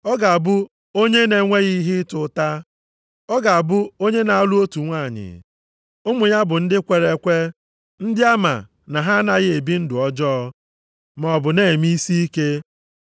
Ọ ga-abụ onye a na-enweghị ihe ịta ụta, ọ ga-abụ onye na-alụ otu nwanyị. Ụmụ ya bụ ndị kwere ekwe, ndị ama na ha anaghị ebi ndụ ọjọọ, maọbụ na-eme isiike.